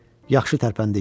Yaxşı tərpəndik.